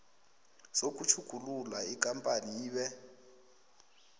sokutjhugulula ikampani ibe